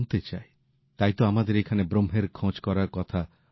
তাই তো আমাদের এখানে ব্রহ্মের খোঁজ করার কথা বলা হয়